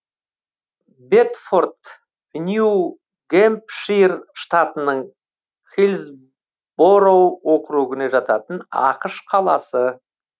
бэдфорд нью гэмпшир штатының хиллсбороу округіне жататын ақш қаласы